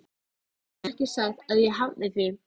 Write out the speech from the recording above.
Ég hef ekki sagt að ég hafni því.